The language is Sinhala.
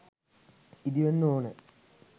ඉදිවෙන්න ඕනෑ.